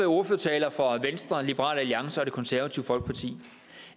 ordførertaler fra venstre liberal alliance og det konservative folkeparti